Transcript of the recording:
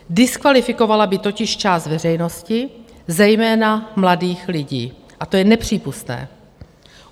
Diskvalifikovala by totiž část veřejnosti, zejména mladých lidí, a to je nepřípustné.